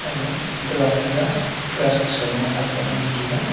aga ground taga grass sa lo e aak ga ngan taiga.